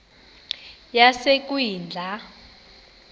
yasekwindla